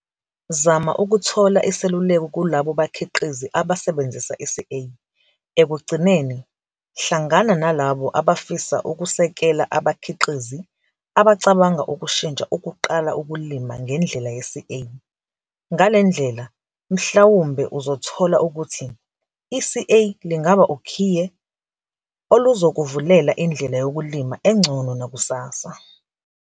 Zama ukuthola iseluleko kulabo bakhiqizi abasebenzisa iCA. Ekugcineni, hlangana nalabo abafisa ukusekela abakhiqizi abacabanga ukushintsha ukuqala ukulima ngendlela ye-'CA. Ngale ndlela mhlawumbe uzothola ukuthi iCA lingaba ukhiye oluzokuvulela indlela yokulima engcono nakusasa.